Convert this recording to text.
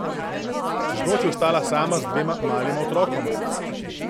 Čez noč je ostala sama z dvema malima otrokoma.